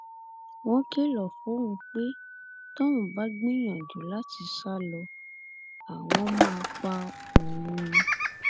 wọn kìlọ fóun pé tóun bá gbìyànjú láti sá lọ àwọn máa pa òun